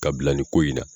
Ka bila nin ko in na